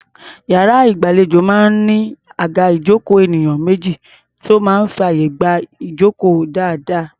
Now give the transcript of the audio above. Iyàrá ìgbàlejò máa ń ní àga ìjókòó elénìyàn méjì tó máa ń fàyè gba ìjókòó dáadáa.